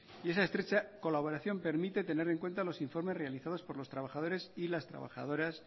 y esa estrecha colaboración permite tener en cuenta los informes realizados por los trabajadores y las trabajadoras